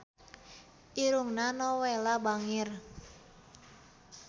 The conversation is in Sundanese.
Irungna Nowela bangir